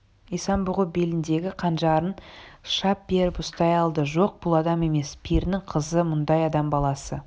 исан-бұғы беліндегі қанжарын шап беріп ұстай алды жоқ бұл адам емес перінің қызы мұндай адам баласы